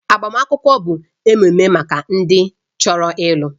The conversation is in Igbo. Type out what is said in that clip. Agbamakwụkwọ bụ ememe maka ndị chọrọ ịlụ